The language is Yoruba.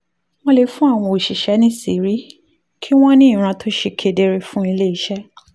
wọ́n lè fún àwọn òṣìṣẹ́ níṣìírí kí wọ́n ní ìran tó ṣe kedere fún ilé iṣẹ́